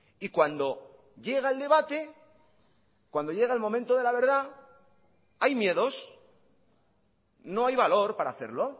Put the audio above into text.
y cuando llega el debate cuando llega el momento de la verdad hay miedos no hay valor para hacerlo